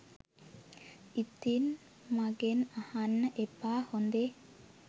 ඉතින් මගෙන් අහන්න එපා හොඳේ